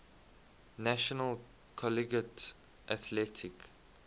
national collegiate athletic